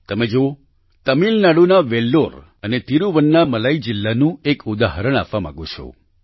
તમે જુઓ તમિલનાડુના વેલ્લોર અને તિરૂવન્નામલાઈ જિલ્લાનું એક ઉદાહરણ આપવા માગું છું